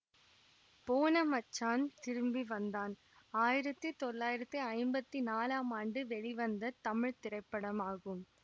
போன மச்சான் திரும்பி வந்தான் ஆயிரத்தி தொள்ளாயிரத்தி ஐம்பத்தி நாலாம் ஆண்டு வெளிவந்த தமிழ் திரைப்படமாகும்